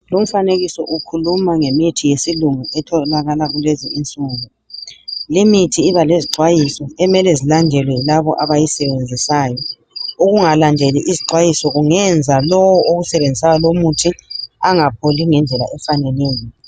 Lumfanekiso ukhuluma ngemithi yesilungu etholakala kulezi insuku. Limithi iba lezixwayiso emele zilandelwe yilabo abayisebenzisayo ukungalandeli izixwayiso kungenza lowu owusebenzisayo lomuthi engapholi ngendlela efaneleyo.